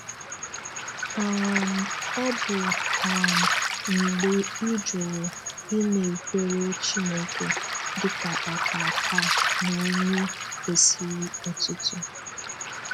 um Ọ bụ um mgbe ị jụrụ ịnakwere Chineke dịka Ọkaakaa na onye kwesịrị otito.